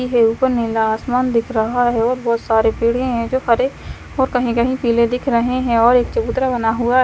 की है ऊपर नीला आसमान दिख रहा है और बहोत सारे पेड़े हैं जो हरे और कहीं कहीं पीले दिख रहे हैं और एक चबूतरा बना हु--